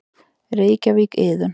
Reykjavík: Iðunn.